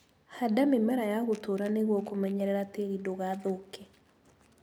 Handa mĩmera ya gũtũra nĩguo kũmenyerera tĩri ndũgathũke.